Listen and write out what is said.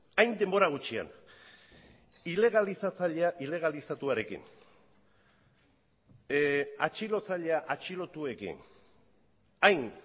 hain denbora gutxian ilegalizatzailea ilegalizatuarekin atxilotzailea atxilotuekin hain